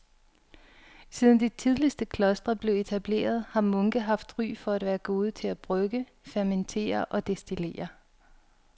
Siden de tidligste klostre blev etableret har munke haft ry for at være gode til at brygge, fermentere og destillere.